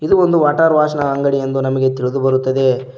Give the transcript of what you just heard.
ಇದು ಒಂದು water wash ನ ಅಂಗಡಿ ಎಂದು ನಮಗೆ ತಿಳಿದುಬರುತ್ತದೆ.